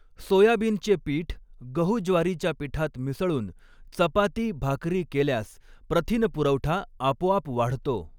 सोयाबिनचे पीठ गहू ज्वारीच्या पिठात मिसळून चपाती भाकरी केल्यास प्रथिनपुरवठा आपोआप वाढतो.